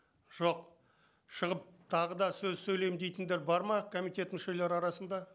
жоқ шығып тағы да сөз сөйлеймін дейтіндер бар ма комитет мүшелері арасында